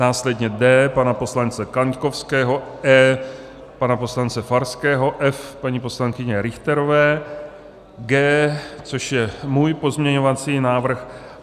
Následně D pana poslance Kaňkovského, E pana poslance Farského, F paní poslankyně Richterové, G, což je můj pozměňovací návrh.